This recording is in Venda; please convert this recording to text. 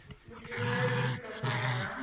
u thivhela u tshikafhadzwa ha